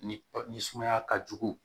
Ni sumaya ka jugu